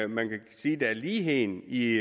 man kan sige er ligheden i